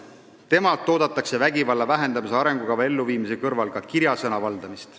Temalt oodatakse vägivalla vähendamise arengukava elluviimise kõrval ka kirjasõna valdamist.